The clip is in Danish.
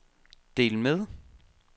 del med